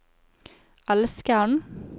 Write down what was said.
elskeren